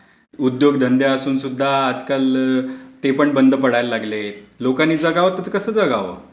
उद्योगधंदे असूनसुद्धा आजकाल ते पण बंद पडायला लागलेत. लोकांनी जगावं तर कसं जगावं?